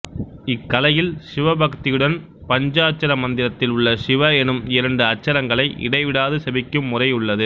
இக்கலையில் சிவபக்தியுடன் பஞ்சாட்சர மந்திரத்தில் உள்ள சிவ எனும் இரண்டு அட்சரங்களை இடைவிடாது செபிக்கும் முறையுள்ளது